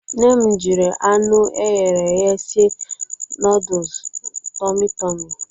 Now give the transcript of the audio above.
Nne m jiri anụ e ghere eghe sie nọọdụsụ tọmị tọmị.